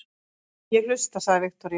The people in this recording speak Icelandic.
Ég hlusta, sagði Viktoría.